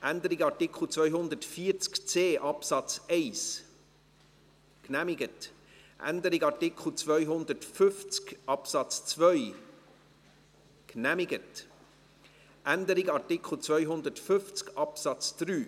Sie haben den Antrag FiKo-Mehrheit und Regierungsrat angenommen, mit 89 Ja- gegen 59 Nein-Stimmen bei 1 Enthaltung.